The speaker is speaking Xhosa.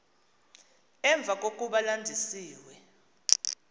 emva kokuba landisiwe